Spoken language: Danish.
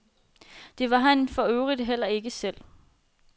Det var han forøvrigt heller ikke selv.